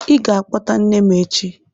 Ị ga-akpọta nne m echi!